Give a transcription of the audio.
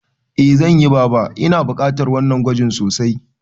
Eh zanyi baba, Ina bukatar wannan gwajin sosai